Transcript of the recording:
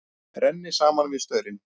Renni saman við staurinn.